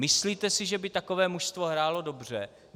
Myslíte si, že by takové mužstvo hrálo dobře?